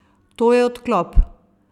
To je odklop!